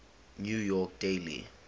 new york daily